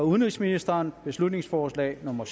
udenrigsministeren beslutningsforslag nummer